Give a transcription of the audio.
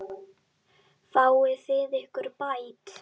Fáið þið ykkar bætt.